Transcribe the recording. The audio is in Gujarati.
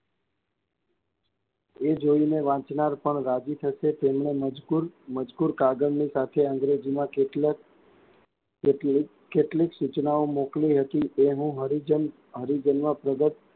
એ જોઈને વાચનાર પણ રાજી થશે. તેમાં મજગૂર, મજગૂર કાગળ ની સાથે અંગ્રેજીમાં કેટલાક કેટલીક કેટલીક સૂચનાઓ મોકલી હતી એ હું હરીજન હરીજનમાં પ્રગટ,